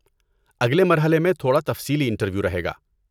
اگلے مرحلے میں تھوڑا تفصیلی انٹرویو رہے گا۔